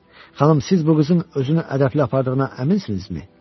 Xanım, siz bu qızın özünü ədəbli apardığına əminsinizmi?